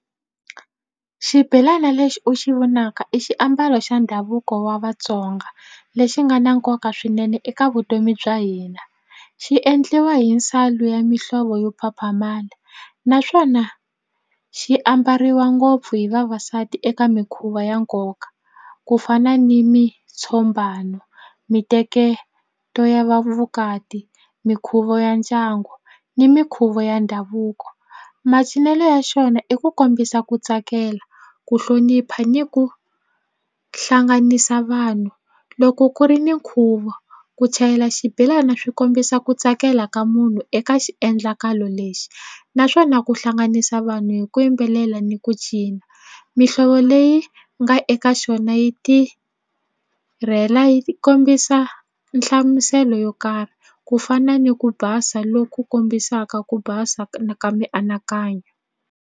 Xibelana lexi u xi vonaka i xiambalo xa ndhavuko wa Vatsonga lexi nga na nkoka swinene eka vutomi bya hina xi endliwa hi ya mihlovo yo phaphamala naswona xi ambariwa ngopfu hi vavasati eka mikhuva ya nkoka ku fana ni miteketo ya va vukati mikhuvo ya ndyangu ni mikhuvo ya ndhavuko macinelo ya xona i ku kombisa ku tsakela ku hlonipha ni ku hlanganisa vanhu loko ku ri ni nkhuvo ku chayela xibelani swi kombisa ku tsakela ka munhu eka xiendlakalo lexi naswona ku hlanganisa vanhu hi ku yimbelela ni ku cina mihlovo leyi nga eka xona yi tirhela yi kombisa nhlamuselo yo karhi ku fana ni ku basa loku kombisaka ku basa ka mianakanyo nhundzu.